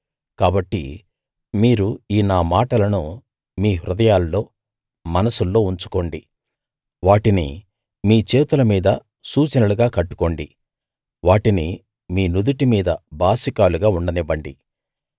కాబట్టి మీరు ఈ నా మాటలను మీ హృదయాల్లో మనస్సుల్లో ఉంచుకోండి వాటిని మీ చేతుల మీద సూచనలుగా కట్టుకోండి వాటిని మీ నుదిటి మీద బాసికాలుగా ఉండనివ్వండి